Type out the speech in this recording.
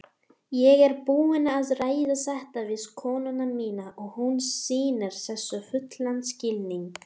Ég er búinn að ræða þetta við konuna mína og hún sýnir þessu fullan skilning.